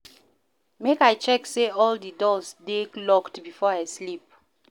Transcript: Make I check say all di doors dey locked before I sleep.